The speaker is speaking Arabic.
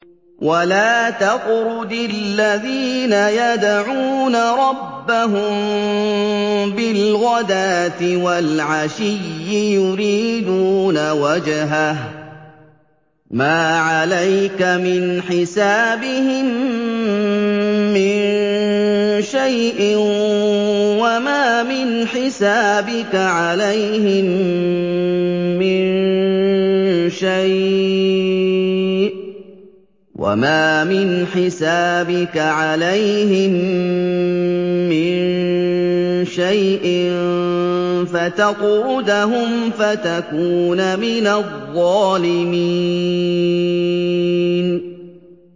وَلَا تَطْرُدِ الَّذِينَ يَدْعُونَ رَبَّهُم بِالْغَدَاةِ وَالْعَشِيِّ يُرِيدُونَ وَجْهَهُ ۖ مَا عَلَيْكَ مِنْ حِسَابِهِم مِّن شَيْءٍ وَمَا مِنْ حِسَابِكَ عَلَيْهِم مِّن شَيْءٍ فَتَطْرُدَهُمْ فَتَكُونَ مِنَ الظَّالِمِينَ